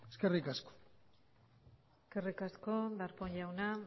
eskerrik asko eskerrik asko darpón jauna